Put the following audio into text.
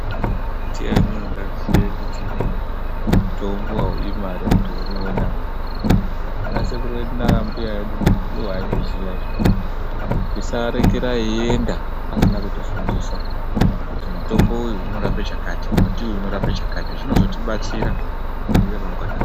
Ndiani ungaziye kuti mutombo haudi mare kuti uwe nawo. Ana sekuru edu nanambuya edu ndiwo aizviziya izvi. Tisavarekera veienda vasina kutifundisa kuti mutombo uyu unorape chakati, muti uyu unorape chakati. Zvinozotibatsira mune ramangwana redu.